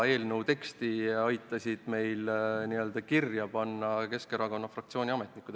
Eelnõu teksti aitasid meil kirja panna Keskerakonna fraktsiooni ametnikud.